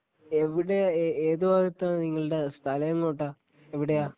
എവിടെയാ ഏ ഏത് ഭാഗത്താ നിങ്ങളുടെ സ്ഥലം എങ്ങോട്ടാ എവിടെയാ?